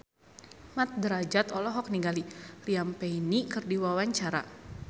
Mat Drajat olohok ningali Liam Payne keur diwawancara